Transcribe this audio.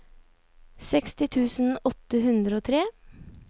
seksti tusen åtte hundre og tre